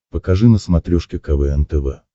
покажи на смотрешке квн тв